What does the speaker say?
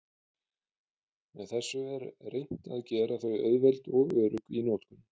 Með þessu er reynt að gera þau auðveld og örugg í notkun.